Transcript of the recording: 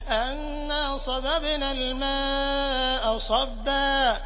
أَنَّا صَبَبْنَا الْمَاءَ صَبًّا